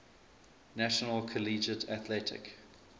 national collegiate athletic